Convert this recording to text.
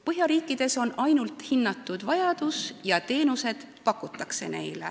Põhjamaades hinnatakse vajadust ja teenuseid neile inimestele pakutakse.